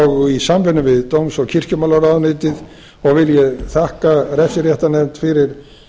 og í samvinnu við dóms og kirkjumálaráðuneytið og vil ég þakka refsiréttarnefnd fyrir